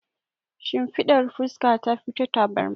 Shimfiɗar fuska tafi ta tabarma.